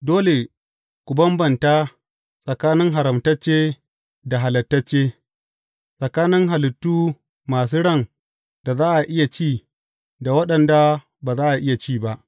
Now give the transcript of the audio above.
Dole ku bambanta tsakanin haramtacce da halaltacce, tsakanin halittu masu ran da za a iya ci da waɗanda ba za a iya ci ba.